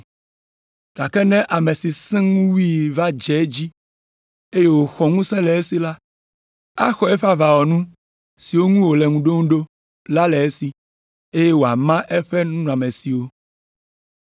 Gake ne ame si sẽ ŋu wui va dze edzi, eye woxɔ ŋusẽ le esi la, axɔ eƒe aʋawɔnu siwo ŋu wòle ŋu ɖom ɖo la le esi, eye wòama eƒe nunɔamesiwo.